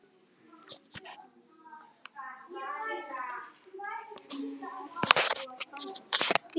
Tobba, hvað er á dagatalinu mínu í dag?